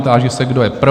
Táži se, kdo je pro?